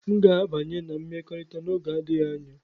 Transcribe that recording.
M ga-abanye na mmekọrịta n'oge adịghị anya.